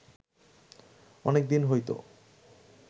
অনেকদিন হইত